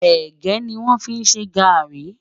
ẹ̀gé ní wón fí ṣé garri